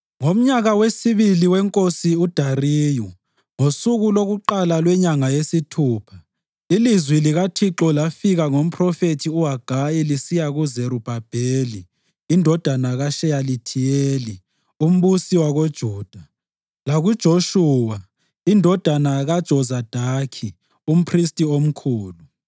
Ngomnyaka wesibili wenkosi uDariyu, ngosuku lokuqala lwenyanga yesithupha, ilizwi likaThixo lafika ngomphrofethi uHagayi lisiya kuZerubhabheli, indodana kaSheyalithiyeli, umbusi wakoJuda, lakuJoshuwa, indodana kaJozadaki, umphristi omkhulu: